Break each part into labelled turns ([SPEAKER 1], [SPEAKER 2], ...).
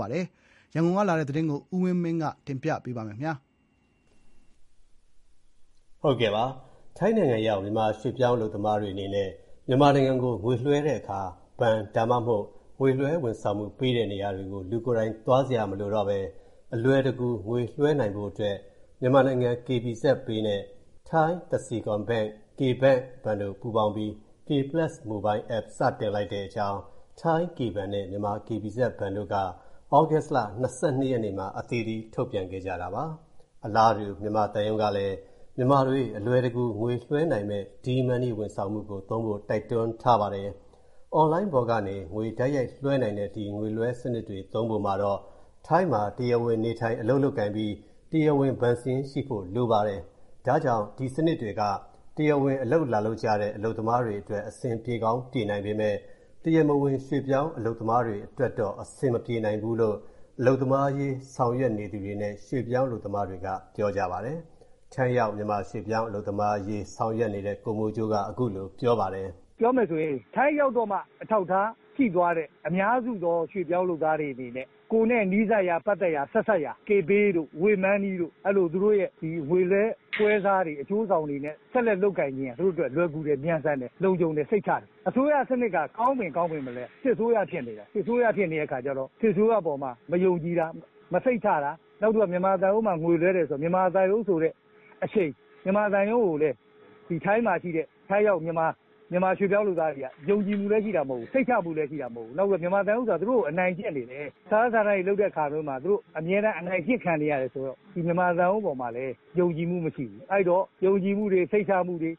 [SPEAKER 1] ပါလဲ။ ရန်ကုန်က ပေးပို့တဲ့ သတင်း အပြည့်အစုံကို ကိုဝင်းမင်း က တင်ပြပေးပါမယ်။ ထိုင်နိုင်ငံရောက် မြန်မာရွေ့ပြောင်း အလုပ်သမားတွေ အနေနဲ့ မြန်မာနိုင်ငံကို ငွေလွှဲတဲ့အခါ ဘဏ် ဒါမှမဟုတ် ငွေလွှဲဝန်ဆောင်မှု ပေးတဲ့ နေရာတွေကို လူကိုယ်တိုင် သွားစရာမလိုဘဲ အလွယ်တကူ ငွေလွှဲနိုင်ဖို့အတွက် မြန်မာနိုင်ငံ KBZpay နဲ့ ထိုင်း Kasikornbank ဘဏ်တို့ပေါင်းပြီး K PLUS Mobile app စတင်လိုက်တဲ့အကြောင်း ထိုင်း K ဘဏ်နဲ့ မြန်မာ KBZ ဘဏ်တို့က သြဂုတ်လ ၂၂ နေ့မှာ အသီးသီး ထုတ်ပြန်ခဲ့ကြတာပါ။ အလားတူ မြန်မာသံရုံးကလည်း မြန်မာတွေ အလွယ်တကူ ငွေလွှဲနိုင်မယ့် ဒီးမန်းနီး ဝန်ဆောင်မှုကို သုံးဖို့ တိုက်တွန်းထားပါတယ်။ အွန်လိုင်းပေါ်ကနေ ငွေ တိုက်ရိုက်လွှဲနိုင်တဲ့ ဒီငွေလွှဲစနစ်တွေ သုံးဖို့မှာတော့ ထိုင်းမှာ တရားဝင် နေထိုင် အလုပ်လုပ်ကိုင်ပြီး တရားဝင် ဘဏ်စာရင်း ရှိဖို့ လိုပါတယ်။ ဒါကြောင့် ဒီစနစ်တွေက တရားဝင် အလုပ်လာလုပ်ကြတဲ့ အလုပ်သမားတွေ အတွက် အဆင်ပြေကောင်း ပြေနိုင်ပေမဲ့ တရားမဝင် ရွေ့ပြောင်း အလုပ်သမားတွေ အတွက်တော့ အဆင်မပြေနိုင်ဘူးလို့ အလုပ်သမားအရေး ဆောင်ရွက်နေသူတွေနဲ့ ရွှေ့ပြောင်း အလုပ်သမားတွေက ပြောဆိုကြပါတယ်။ ထိ
[SPEAKER 2] ုင်းရောက် မြန်မာရွှေ့ပြောင်း အလု
[SPEAKER 1] ပ်သမားအရေး ဆောင်ရွက်နေတဲ့ ကိုမိုးကြိုးက ခုလို ပြောပါတယ်။ “
[SPEAKER 2] ပြောရမယ်ဆိုရင် ထိုင်းရောက်မှ အထောက်အထားရှိသွားတဲ့ အများစုသော ရွှေ့ပြောင်း အလုပ်သမားတွေအနေနဲ့ ကိုယ့်နဲ့ နီးစပ်ရာ ပတ်သက်ရာ Kpay တို့၊ Waymoney တို့ အဲ့လို သူတို့ရဲ့ ငွေလွှဲ ပွဲစားတွေ အကျိုးဆောင်တွေနဲ့ ဆက်လက် လုပ်ကိုင်နေတာက သူတို့အတွက် လွယ်ကူစေတယ်။ မြန်ဆန်တယ်။ သူတို့အတွက် စိတ်ချရတယ်။ အစိုးရ စနစ်က ကောင်းပေမဲ့လည်း စစ်အစိုးရ ဖြစ်နေတယ်။ စစ်အစိုးရ ဖြစ်နေတဲ့ အခါကျတော့ စစ်အစိုးရ အပေါ်မှာ မယုံကြည်တာ၊ စိတ်မချတာ။ နောက်တော့ မြန်မာသုံးရုံးမှာ ငွေလွဲတယ်ဆိုတာ မြန်မာသံရုံး ကိုလည်း ထိုင်းရောက် မြန်မာ ရွှေ့ပြောင်းလုပ်သားတွေက ယုံကြည်မှုလည်း ရှိတာ မဟုတ်ဘူး။ စိတ်ချမှုလည်း ရှိတာမဟုတ်ဘူး။ နောက်တော့ မြန်မာသံရုံးက သူတို့ကို အနိုင်ကျင့်နေတယ်။ စာရွက်စာတမ်းတွေ လုပ်တဲ့ အခါမျိုးမှာ သူတို့အမြဲတမ်း အနိုင်ကျင့်ခံနေရတယ်။ မြန်မာသံရုံး ပေါ်မှာလည်း ယုံကြည်မှု မရှိဘူး။ အဲ့ဒီတော့ ယုံကြည်မှုတွေ စိတ်ချမှုတွေ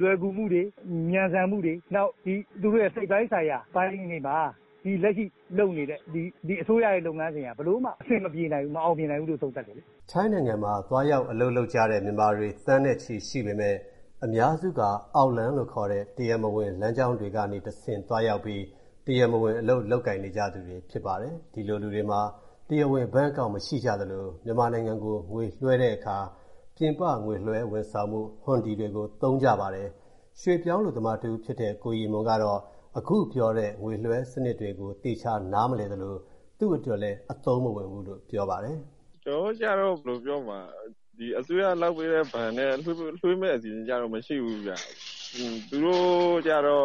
[SPEAKER 2] လွယ်ကူမှုတွေ မြန်ဆန်မှုတွေ။ နောက် သူတို့ရဲ့ စိတ်ပိုင်းဆိုင်ရာ လက်ရှိ လုပ်နေတဲ့ အစိုးရရဲ့ လုပ်ငန်းတွေဟာ ဘယ်လိုမှ အဆင်မပြေနိုင်ဘူး။ မအောင်မြင်နိုင်ဘူးလို့ သုံးသပ်တယ်။
[SPEAKER 1] ” ထိုင်းနိုင်ငံမှာ သွားရောက် အလုပ်လုပ်ကြတဲ့ မြန်မာတွေ သန်းနဲ့ချီ ရှိပေမဲ့ အများစုက အောက်လမ်းလို့ ခေါ်တဲ့ တရားမဝင် လမ်းကြောင်းတွေ ကနေတဆင့် သွားရောက်ပြီး တရားမဝင် အလုပ် လုပ်ကိုင်နေကြသူတွေ ဖြစ်ပါတယ်။ ဒီလိုလူတွေမှာ တရားဝင် ဘဏ်အကောင့် မရှိကြသလို၊ မြန်မာနိုင်ငံကို ငွေလွှဲတဲ့အခါ ပြင်ပ ငွေလွှဲဝန်ဆောင်မှု ဟွန်ဒီတွေ သုံးကြပါတယ်။ ရွှေ့ပြောင်းအလုပ်သမားတဦးဖြစ်တဲ့ ကိုရီမွန်ကတော့ အခုပြောတဲ့ ငွေလွှဲစနစ်တွေကို သေချာ နားမလည်သလို၊ သူ့အတွက်လည်း အသုံးမဝင်ဘူးလို့ ပြောပါတယ်။
[SPEAKER 3] “ ကျနော်တို့ကျတော့ ဘယ်လိုပြောမလဲ အစိုးရလုပ်ပေးတဲ့ ဘဏ်နဲ့ ကျတော့ လွှဲမယ့် အစီအစဉ်မရှိဘူးဗျာ။ သူတို့ပြောတာ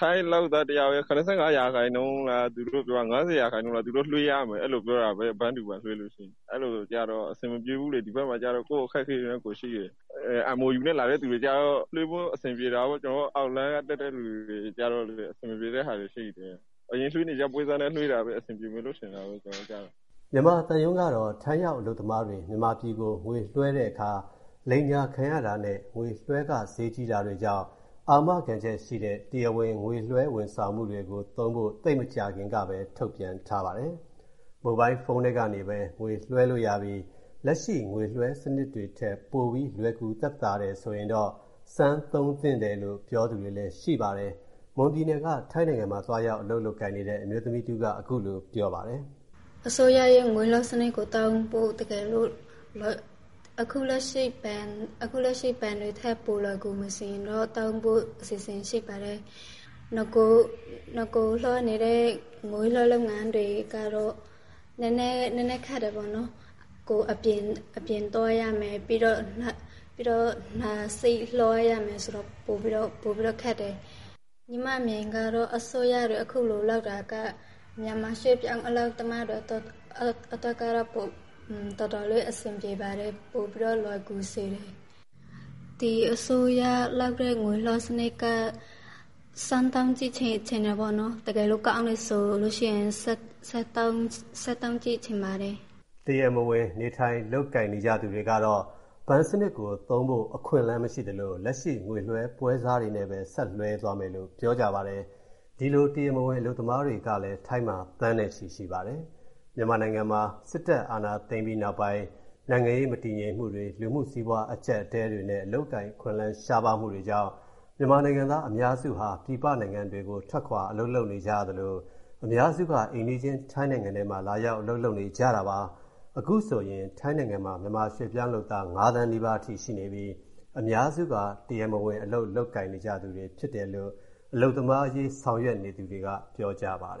[SPEAKER 3] ထိုင်းလုပ်သား တယောက်ရဲ့ ၇၅ ရာခိုင်နှုန်းလား။ ၅၀ ရာခိုင်နှုန်းလား လွှဲရမယ်လို့ ပြောတာပဲ။ bank to bank လွှဲလို့ရှိရင် ဆိုတော့ MOU လုပ်သားတွေကတော့ လွှဲလို့ အဆင်ပြေတာပေါ့။ ကျနော်တို့လို အောက်လမ်းက လာတဲ့ သူတွေကျတော့ အဆင်မပြေဘူးလေ။ ဒီဘက်မှာကျတော့ ကိုယ့်အခက်အခဲနဲ့ ကိုယ်ရှိတယ်။ အရင်လွှဲနေကျ ပွဲစားနဲ့ လွှဲတာပဲ အဆင်ပြေမယ်ထင်တယ်။"
[SPEAKER 1] မြန်မာသံရုံးကတော့ ထိုင်းရောက် အလုပ်သမားတွေ မြန်မာပြည်ကို ငွေလွှဲတဲ့အခါ လိမ်ညာခံရတာနဲ့ ငွေလွှဲခ ဈေးကြီးတာတွေကြောင့် အာမခံချက်ရှိတဲ့ တရားဝင် ငွေလွှဲဝန်ဆောင်မှုတွေကို သုံးဖို့ သိပ်မကြာခင်ကပဲ ထုတ်ပြန်ထားတာပါ။ မိုဘိုင်းဖုန်း ထဲကနေပဲ ငွေလွှဲလို့ရပြီး လက်ရှိ ငွေလွှဲစနစ်တွေထက် ပိုပြီး လွယ်ကူ သက်သာတယ်ဆိုရင်တော့ စမ်း သုံးသင့်တယ်လို့ ပြောသူတွေလည်း ရှိပါတယ်။ မွန်ပြည်နယ်ကနေ ထိုင်းနိုင်ငံမှာ သွားရောက် အလုပ် လုပ်ကိုင်နေတဲ့ အမျိုးသမီးတဦးက ခုလို ပြောပါတယ်။
[SPEAKER 4] “ အခုလက်ရှိ ဘဏ်တွေထက် ပိုလွယ်ကူမယ်ဆိုရင်တော့ သုံးဖို့ အစီအစဉ်ရှိပါတယ်။ နဂိုလွှဲနေတဲ့ ငွေလွှဲ လုပ်ငန်းတွေကတော့ နည်းနည်းခက်တယ်ပေါ့နော်။ ကိုယ် အပြင်သွားရမယ်ဆိုတော့ ပိုပြီးတော့ ခက်တယ်။ ညီမ မြင်တာက အခုလို လုပ်တာက မြန်မာ ရွေ့ပြောင်းလုပ်သားတွေ အတွက် အဆင်ပြေမယ်ထင်တယ်။ ဒီငွေလွဲစနစ်ကို စမ်း သုံးကြည့်ချင်တယ်။ တကယ်လို့ ကောင်းတယ်ဆိုရင် ဆက်သုံးကြည့် ချင်ပါတယ်။
[SPEAKER 1] ” တရားမဝင် နေထိုင် လုပ်ကိုင်နေကြသူတွေ ကတော့ ဘဏ်စနစ်သုံးဖို့ အခွင့်အလမ်း မရှိသလို၊ လက်ရှိ ငွေလွှဲပွဲစားတွေနဲ့ပဲ ဆက်လွှဲသွားမယ်လို့ ပြောဆိုကြပါတယ်။ ဒီလို တရားမဝင် အလုပ်သမားတွေကလည်း ထိုင်းမှာ သန်းနဲ့ချီ ရှိပါတယ်။ မြန်မာနိုင်ငံမှာ စစ်တပ် အာဏာသိမ်းပြီးနောက်ပိုင်း နိုင်ငံရေး မတည်ငြိမ်မှုတွေ၊ လူမှုစီးပွား အကျပ်အတည်းတွေနဲ့ အလုပ်အကိုင် အခွင့်အလမ်း ရှားပါးမှုတွေကြောင့် မြန်မာနိုင်ငံသား အများစုဟာ ပြည်ပနိုင်ငံတွေကို ထွက်ခွာ အလုပ် လုပ်နေကြရသလို၊ အများစုက အိမ်နီးချင်း ထိုင်းနိုင်ငံထဲမှာ လာရောက် အလုပ် လုပ်နေကြတာပါ။ အခုဆိုရင် ထိုင်းနိုင်ငံမှာ မြန်မာရွှေ့ပြောင်း လုပ်သား ၅ သန်း နီးပါးအထိ ရှိနေပြီး အများစုက တရားမဝင် အလုပ် လုပ်နေကြသူတွေ ဖြစ်တယ်လို့ အလုပ်သမားအရေး ဆောင်ရွက်နေသူတွေက ပြောဆိုကြပါတယ်